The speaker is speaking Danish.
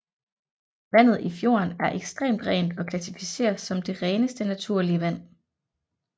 Vandet i fjorden er ekstremt rent og klassificeres som det reneste naturlige vand